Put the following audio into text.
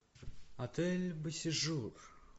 отель бо сежур